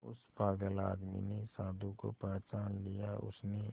उस पागल आदमी ने साधु को पहचान लिया उसने